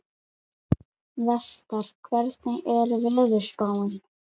Vestar, hvernig er veðurspáin?